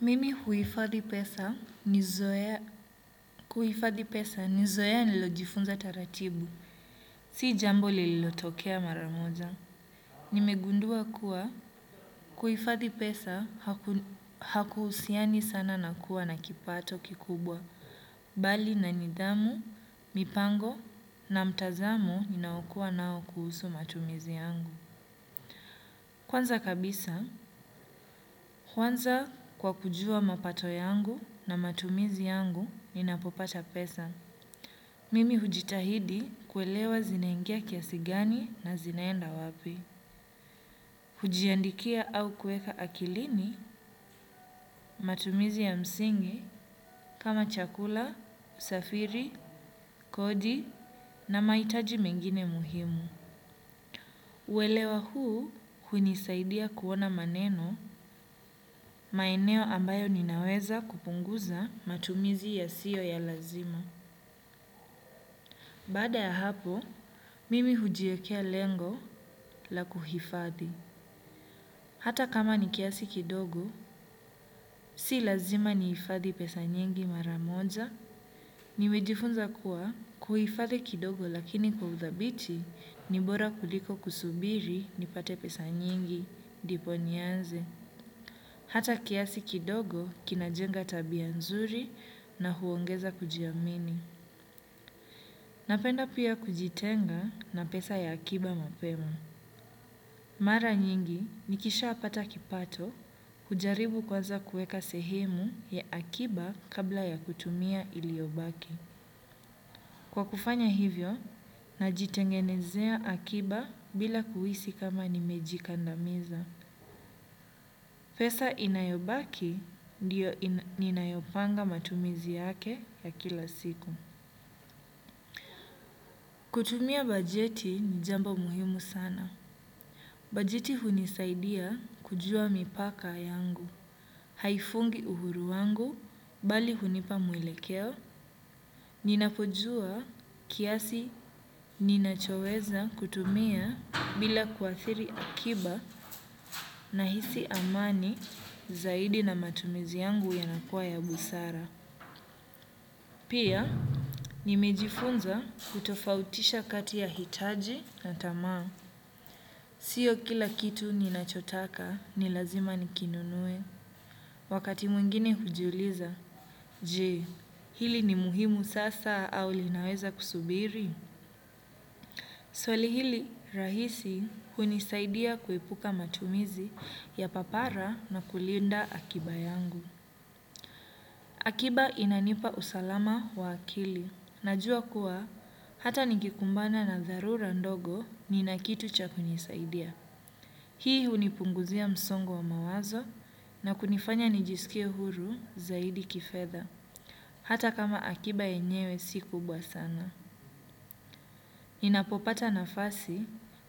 Mimi huifadhi pesa nizoea, kuhifadhi pesa nizoea nililojifunza taratibu, si jambo lililotokea maramoja. Nimegundua kuwa, kuifadhi pesa hakuhusiani sana na kuwa na kipato kikubwa, bali na nidhamu, mipango na mtazamo ninaokuwa nao kuhusu matumizi yangu. Kwanza kabisa, huanza kwa kujua mapato yangu na matumizi yangu ninapopata pesa. Mimi hujitahidi kuelewa zinaingia kiasi gani na zinaenda wapi. Hujiandikia au kuweka akilini matumizi ya msingi kama chakula, usafiri, kodi na mahitaji mengine muhimu. Uelewa huu hunisaidia kuona maneno maeneo ambayo ninaweza kupunguza matumizi yasiyo ya lazima. Baada ya hapo, mimi hujiekea lengo la kuhifadhi. Hata kama ni kiasi kidogo, si lazima nihifadhi pesa nyingi mara moja. Nimejifunza kuwa kuhifadhi kidogo lakini kwa huthabiti ni bora kuliko kusubiri nipate pesa nyingi ndipo nianze. Hata kiasi kidogo kinajenga tabia nzuri na huongeza kujiamini. Napenda pia kujitenga na pesa ya akiba mapema. Mara nyingi nikisha pata kipato hujaribu kwanza kuweka sehemu ya akiba kabla ya kutumia iliobaki. Kwa kufanya hivyo, najitengenezea akiba bila kuhisi kama nimejikandamiza. Pesa inayobaki ndiyo ninayopanga matumizi yake ya kila siku. Kutumia bajeti ni jambo muhimu sana. Bajeti hunisaidia kujua mipaka yangu. Haifungi uhuru wangu, bali hunipa mwelekeo. Ninapojua kiasi ninachoweza kutumia bila kuathiri akiba nahisi amani zaidi na matumizi yangu yanakuwa ya busara. Pia, nimejifunza kutofautisha kati ya hitaji na tamaa. Sio kila kitu ninachotaka ni lazima nikinunue. Wakati mwingine hujiuliza, je, hili ni muhimu sasa au linaweza kusubiri? Swali hili rahisi hunisaidia kuepuka matumizi ya papara na kulinda akiba yangu. Akiba inanipa usalama wa akili, najua kuwa hata ningekumbana na dharura ndogo ninakitu cha kunisaidia. Hii hunipunguzia msongo wa mawazo na kunifanya nijisikie huru zaidi kifedha, hata kama akiba yenyewe si kubwa sana. Ninapopata nafasi,